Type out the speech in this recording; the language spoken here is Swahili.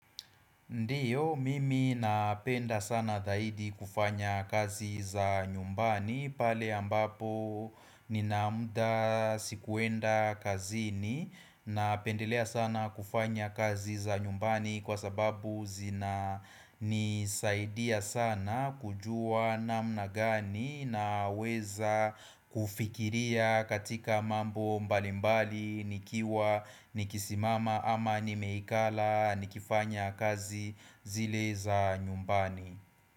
Ndiyo, mimi napenda sana dhahidi kufanya kazi za nyumbani pale ambapo nina muda sikuenda kazini Napendelea sana kufanya kazi za nyumbani Kwa sababu zina nisaidia sana kujua namna gani Naweza kufikiria katika mambo mbalimbali nikiwa nikisimama ama nimeikala nikifanya kazi zile za nyumbani.